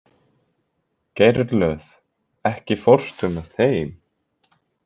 Geirlöð, ekki fórstu með þeim?